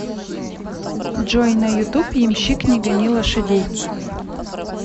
джой на ютуб ямщик не гони лошадей